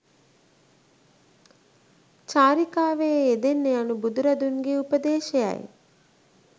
චාරිකාවේ යෙදෙන්න යනු බුදුරදුන්ගේ උපදේශයයි.